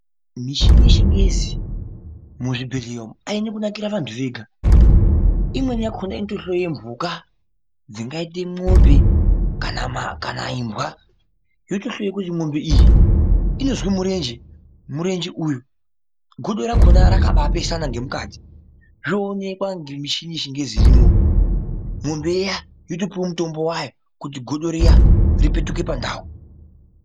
Mishini yechingezi muzvibhedhleya umu aina kunakira vantu vega, imweni yakhona inotohloya dzimweni mhuka dzangaite mombe kana imbwa yotohloye kuti mombe iyi inozwe murenje, murenje uyu godo rakhona rakabapesana ngemukati zvoonekwa ngemishini yechingezi irimo mombe iya yotopuwa mutombo wayo kuti godo riya ripetuke pandau paro.